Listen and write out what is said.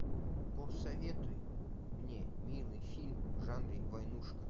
посоветуй мне милый фильм в жанре войнушка